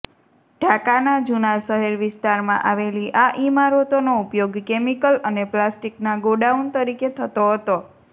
ઢાકાના જૂના શહેર વિસ્તારમાં આવેલી આ ઇમારતોનો ઉપયોગ કેમિકલ અને પ્લાસ્ટિકના ગોડાઉન તરીકે થતો હતો